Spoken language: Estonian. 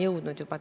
Jah, vabandust!